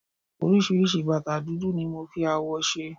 oríṣiríṣi bàtà dúdú ni mo fi awọ ṣe